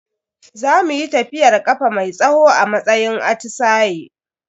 Za muyi tafiyar kafa mai tsawo a matsayin atisaye.